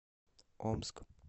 омск